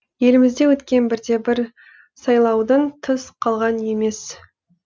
елімізде өткен бірде бір сайлаудан тыс қалған емес